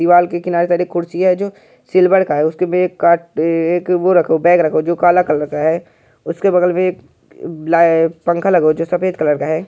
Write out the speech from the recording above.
दीवाल के किनारे तनी कुर्सी है जो सिल्वर का है। उसके बैग काट ये वो एक रखा एक बैग रखा हुआ है जो कला कलर है। उसके बगल मे एक ला पंखा लगा है जो सफेद कलर का है।